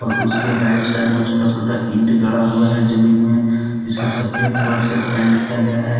उसके right side में छोटा छोटा ईंट गड़ा हुआ हैजमीन में जिसे सफेद कलर से पेंट किया गया है।